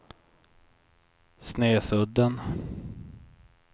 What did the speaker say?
Snesudden